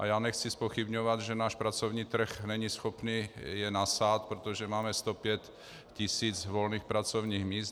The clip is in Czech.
A já nechci zpochybňovat, že náš pracovní trh není schopný je nasát, protože máme 105 tis. volných pracovních míst.